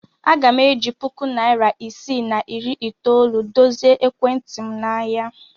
Aga m eji puku naịra isii na iri itoolu dozie ekwentị m n'ahịa.